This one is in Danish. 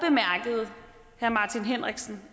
herre martin henriksen